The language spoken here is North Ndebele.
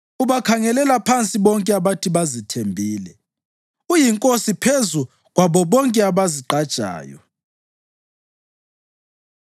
Ubakhangelela phansi bonke abathi bazithembile; uyinkosi phezu kwabo bonke abazigqajayo.”